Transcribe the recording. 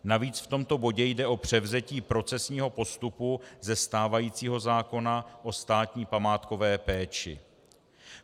Navíc v tomto bodě jde o převzetí procesního postupu ze stávajícího zákona o státní památkové péči.